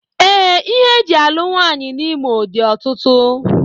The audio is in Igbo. Ee, ihe e ji alụ nwaanyị n'Imo dị ọtụtụ